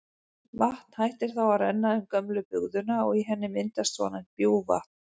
Vatn hættir þá að renna um gömlu bugðuna og í henni myndast svonefnt bjúgvatn.